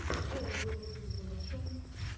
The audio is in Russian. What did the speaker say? первый выпуск зумыча